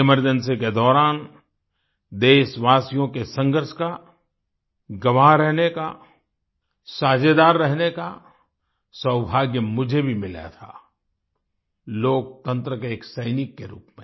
emergency के दौरान देशवासियों के संघर्ष का गवाह रहने का साझेदार रहने का सौभाग्य मुझे भी मिला था लोकतंत्र के एक सैनिक के रूप में